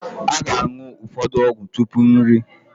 A ga-aṅụ ụfọdụ ọgwụ tupu nri